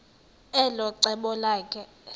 elo cebo lakhe